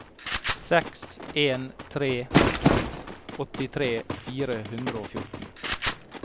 seks en tre to åttitre fire hundre og fjorten